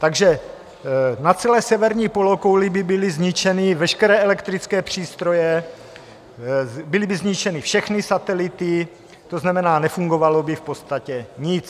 Takže na celé severní polokouli by byly zničeny veškeré elektrické přístroje, byly by zničeny všechny satelity, to znamená, nefungovalo by v podstatě nic.